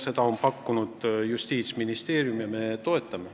Neid on pakkunud Justiitsministeerium ja me toetame.